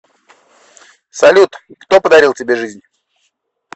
салют кто подарил тебе жизнь